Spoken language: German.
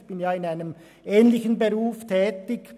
ich bin ja in einem ähnlichen Beruf tätig.